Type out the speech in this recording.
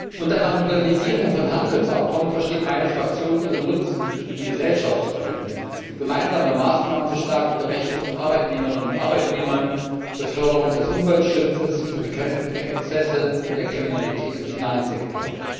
Unter einer Modernisierung von Handelsabkommen versteht meine Fraktion, ihren Nutzen für die Gesellschaft zu erhöhen, gemeinsame Maßnahmen zur Stärkung der Rechte von Arbeitnehmerinnen und Arbeitnehmern, zur Förderung des Umweltschutzes, zur Bekämpfung der Exzesse und der Kriminalität im Finanzsektor.